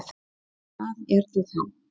Þorbjörn: Hvað ertu þá?